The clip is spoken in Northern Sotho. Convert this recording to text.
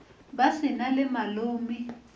ba se na le malome